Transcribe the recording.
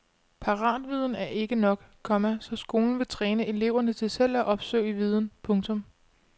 Paratviden er ikke nok, komma så skolen vil træne eleverne til selv at opsøge viden. punktum